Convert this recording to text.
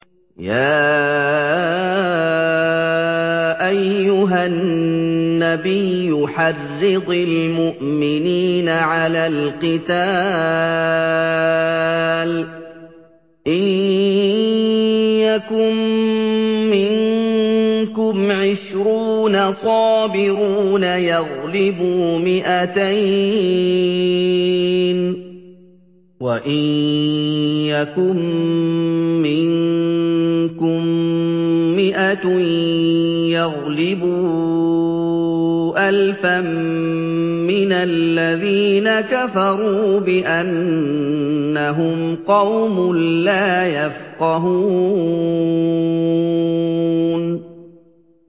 يَا أَيُّهَا النَّبِيُّ حَرِّضِ الْمُؤْمِنِينَ عَلَى الْقِتَالِ ۚ إِن يَكُن مِّنكُمْ عِشْرُونَ صَابِرُونَ يَغْلِبُوا مِائَتَيْنِ ۚ وَإِن يَكُن مِّنكُم مِّائَةٌ يَغْلِبُوا أَلْفًا مِّنَ الَّذِينَ كَفَرُوا بِأَنَّهُمْ قَوْمٌ لَّا يَفْقَهُونَ